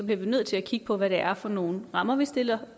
vi bliver nødt til at kigge på hvad det er for nogle rammer vi stiller